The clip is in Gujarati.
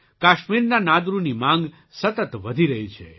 કાશ્મીરના નાદરુની માગ સતત વધી રહી છે